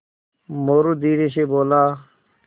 मोरू धीरे से बोला